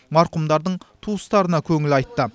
марқұмдардың туыстарына көңіл айтты